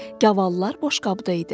Gavallar boşqabda idi.